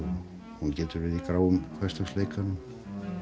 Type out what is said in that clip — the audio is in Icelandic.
hún getur verið í gráum hversdagsleikanum